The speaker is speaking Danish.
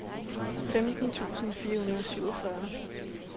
femten tusind fire hundrede og syvogfyrre